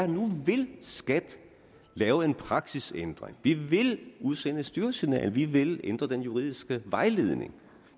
nu vil skat lave en praksisændring vi vil udsende et styresignal vi vil ændre den juridiske vejledning